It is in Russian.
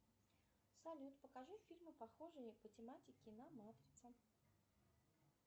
салют покажи фильмы похожие по тематике на матрица